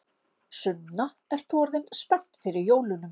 Sunna: Ert þú orðin spennt fyrir jólunum?